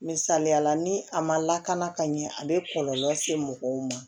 Misaliyala ni a ma lakana ka ɲɛ a bɛ kɔlɔlɔ se mɔgɔw ma